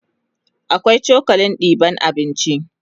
akwai cokalin ɗeban abinci